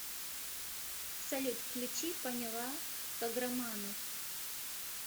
салют включи поняла каграманов